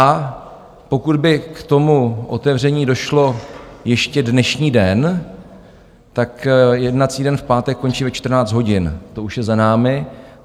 A pokud by k tomu otevření došlo ještě dnešní den, tak jednací den v pátek končí ve 14 hodin, to už je za námi.